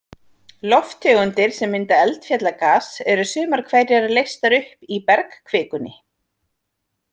Lofttegundir sem mynda eldfjallagas, eru sumar hverjar leystar upp í bergkvikunni.